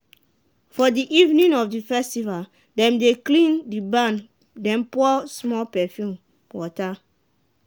for the evening of the festival dem dey clean the barn then pour small perfume water.